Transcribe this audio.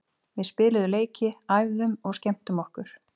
Við spiluðum leiki, æfðum og skemmtum okkur.